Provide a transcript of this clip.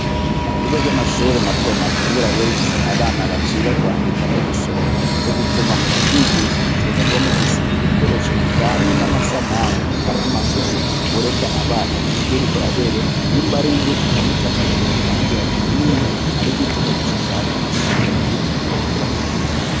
Ku bigo vy'amashuri matomato kubera biba bifise abana baciga kwandika no gusoma nico gituma mu kubigisha mutegerezwa kuba mufise ibikoresho bijanye n'amasanamu canke amashusho wereka abana ivyo uriko urabereka nimba ari inzu ukamucapira inzu ukamubwira ati iyi ni inzu ari igiti ukagishushanya ukamwereka igiti uko kiba kimeze.